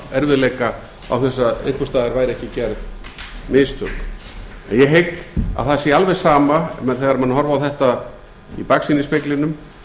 erfiðleika án þess að einhvers staðar væru ekki gerð mistök en ég hygg að það sé alveg sama þegar menn horfa á þetta í baksýnisspeglinum